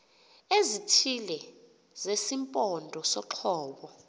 ezithile zesimpondo soqobo